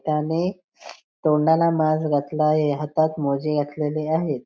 त्याने तोंडाला मास्क घातला आहे हातात मोजे घातलेले आहेत.